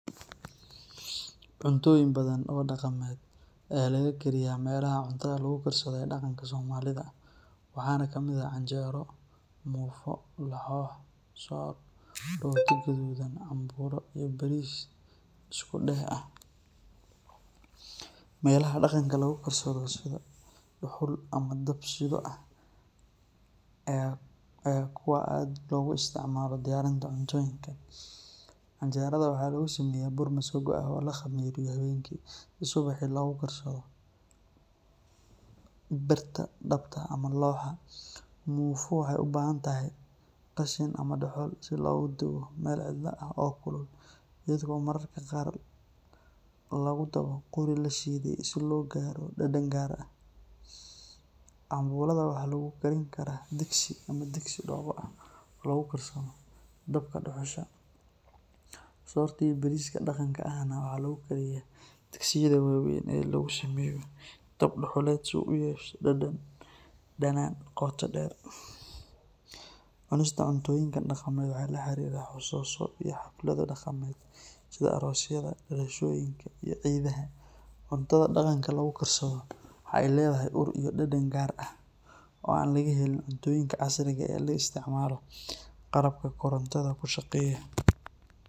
Cuntooyin badan oo dhaqameed ayaa laga kariyaa meelaha cuntada lagu karsado ee dhaqanka Soomaalida, waxaana ka mid ah canjeero, muufo, lahoh, soor, rooti gaduudan, cambuulo, iyo bariis isku-dheh ah. Meelaha dhaqanka lagu karsado sida dhuxul ama dab-shidho ayaa ah kuwa aad loogu isticmaalo diyaarinta cuntooyinkan. Canjeerada waxaa lagu sameeyaa bur masago ah oo la khamiiriyo habeenkii si subaxii loogu karsado birta dhabta ama looxa. Muufo waxay u baahan tahay qashin ama dhuxul si loogu dubo meel cidla ah oo kulul, iyadoo mararka qaar lagu dabo qori la shiiday si loo gaaro dhadhan gaar ah. Cambuulada waxaa lagu karin karaa digsi ama digsi dhoobo ah oo lagu karsado dabka dhuxusha. Soorta iyo bariiska dhaqanka ahna waxaa lagu kariyaa digsiyada waaweyn ee lagu sameeyo dab dhuxuleed si uu u yeesho dhadhan dhadhan qoto dheer. Cunista cuntooyinkan dhaqameed waxay la xiriirtaa xasuuso iyo xaflado dhaqameed sida aroosyada, dhalashooyinka, iyo ciidaha. Cuntada dhaqanka lagu karsado waxa ay leedahay ur iyo dhadhan gaar ah oo aan laga helin cuntooyinka casriga ah ee la isticmaalo qalabka korontada ku shaqeeya.